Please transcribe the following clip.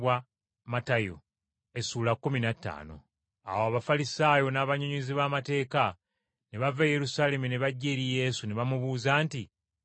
Awo Abafalisaayo n’abannyonnyozi b’amateeka ne bava e Yerusaalemi ne bajja eri Yesu ne bamubuuza nti: